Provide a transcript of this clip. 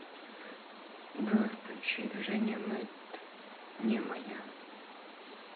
джой включи женя мэд не моя